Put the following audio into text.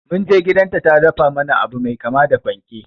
Munje gidan ta ta dafa mana abu mai kama da panke